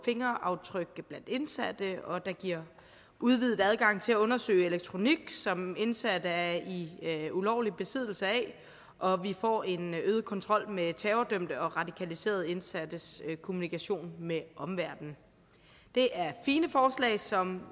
fingeraftryk af indsatte og det giver udvidet adgang til at undersøge elektronik som indsatte er i ulovlig besiddelse af og vi får en øget kontrol med terrordømte og radikaliserede indsattes kommunikation med omverdenen det er fine forslag som